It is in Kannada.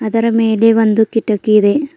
ಅದರ ಮೇಲೆ ಒಂದು ಕಿಟಕಿ ಇದೆ.